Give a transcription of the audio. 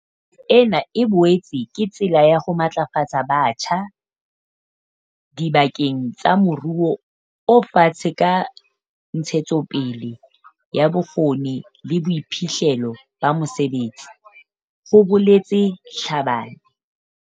"Ena e boetse ke tsela ya ho matlafatsa batjha diba keng tsa moruo o fatshe ka ntshetsopele ya bokgoni le boiphihlello ba mosebetsi," ho boletse Tlhabane.